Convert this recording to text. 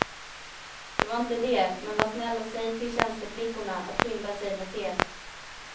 Det var inte det, men var snäll och säg till tjänsteflickorna att skynda sig med teet.